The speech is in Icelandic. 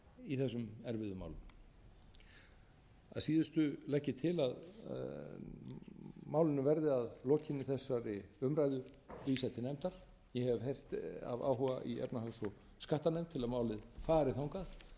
í þessum erfiðu málum að síðustu legg ég til að málinu verði að lokinni þessari umræðu vísað til nefndar ég hef heyrt af áhuga í efnahags og skattanefnd til að málið fari þangað